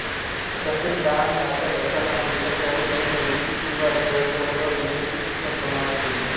तसेच तहान लागत असताना मिठाचे अणु देणे उचकी किंवा जळजळवर मिर्ची सूक्ष्म प्रमाणात देणे